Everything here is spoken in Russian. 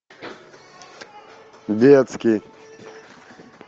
детский